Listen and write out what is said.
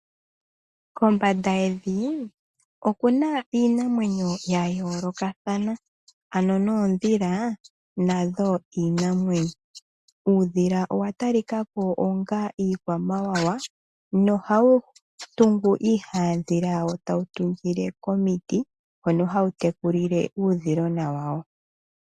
Kombanda yevi okuna iinamwenyo yayoolokathana ano noodhila nadho iinamwenyo, uudhila owatalikako onga iikwamawawa ohawutungu iihandhila yawo tawutungile komiti hono hawu tekulile uudhilona wawo.